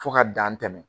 Fo ka dan tɛmɛ